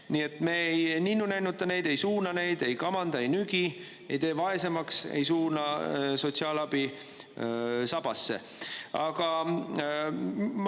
Nii et me ei ninnunännuta neid, ei suuna neid, ei kamanda, ei nügi, ei tee vaesemaks, ei suuna sotsiaalabi sabasse.